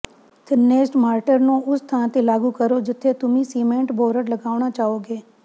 ਥਿੰਨੇਸਟ mortar ਨੂੰ ਉਸ ਥਾਂ ਤੇ ਲਾਗੂ ਕਰੋ ਜਿੱਥੇ ਤੁਸੀਂ ਸੀਮੈਂਟ ਬੋਰਡ ਲਗਾਉਣਾ ਚਾਹੋਗੇ